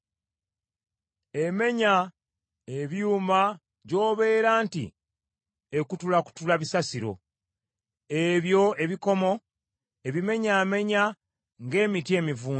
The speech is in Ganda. Emenya ebyuma gy’obeera nti ekutulakutula bisasiro, ebyo ebikomo ebimenyaamenya ng’emiti emivundu.